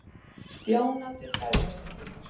Stjána til dægrastyttingar.